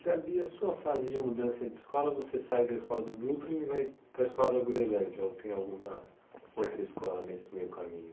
Ricardo, e a sua fase de mudança de escola, você sai da escola do Brooklyn e vai para a escola da Groenlândia, ou tem alguma outra escola nesse meio caminho?